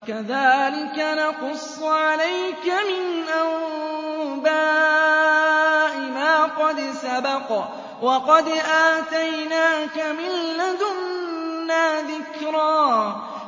كَذَٰلِكَ نَقُصُّ عَلَيْكَ مِنْ أَنبَاءِ مَا قَدْ سَبَقَ ۚ وَقَدْ آتَيْنَاكَ مِن لَّدُنَّا ذِكْرًا